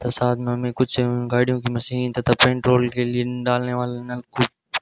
और साथ में हमें कुछ गाड़ियों की मशीन तथा पेट्रोल के लिए डालने वाले नल को--